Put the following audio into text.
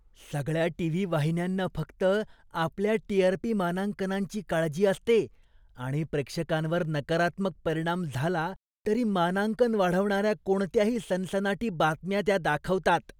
सगळ्या टी.व्ही. वाहिन्यांना फक्त आपल्या टी.आर.पी. मानांकनांची काळजी असते आणि प्रेक्षकांवर नकारात्मक परिणाम झाला तरी मानांकन वाढवणाऱ्या कोणत्याही सनसनाटी बातम्या त्या दाखवतात.